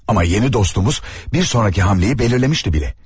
Amma yeni dostumuz bir sonraki hamleyi belirlemişti belə.